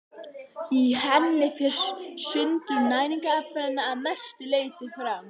Í henni fer sundrun næringarefnanna að mestu leyti fram.